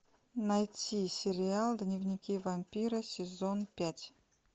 найти сериал дневники вампира сезон пять